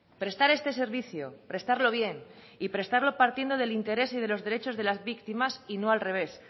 prestar este servicio prestarlo bien y prestarlo partiendo del interés y de los derechos de las víctimas y no al revés